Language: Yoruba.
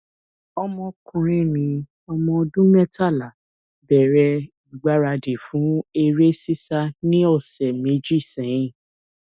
ọmọkùnrin mi ọmọ ọdún mẹtàlá bẹrẹ ìgbaradì fún eré sísá ní ọsẹ méjì sẹyìn